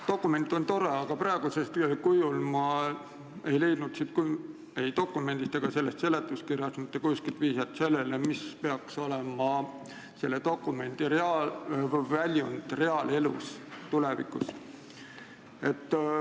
Dokument on tore, aga praegusel kujul ei leidnud ma ei sellest dokumendist ega seletuskirjast mitte kuskilt vihjet sellele, mis peaks olema selle dokumendi väljund reaalelus, tulevikus.